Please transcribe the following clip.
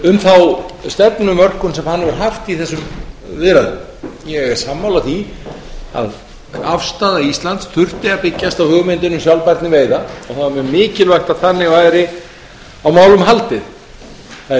um þá stefnumörkun sem hann hefur haft í þessum viðræðum ég er sammála því að afstaða íslands þurfti að byggjast á hugmyndinni um sjálfbærni veiða og það var mjög mikilvægt að þannig væri á málum haldið það er